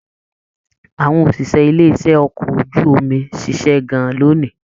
Àwọn òṣìṣẹ́ ilé iṣẹ okọ̀ ojú omi ṣiṣẹ gan-an lóni.